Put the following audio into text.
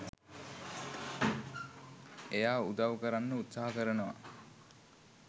එයා උදව් කරන්න උත්සහ කරනවා.